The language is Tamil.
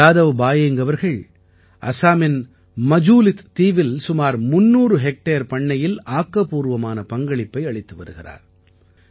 ஜாதவ் பாயேங்க் அவர்கள் அசாமின் மஜூலித் தீவில் சுமார் 300 ஹெக்டேர் பண்ணையில் ஆக்கப்பூர்வமான பங்களிப்பை அளித்து வருகிறார்